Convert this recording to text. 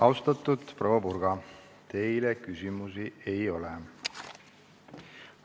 Austatud proua Purga, teile küsimusi ei ole.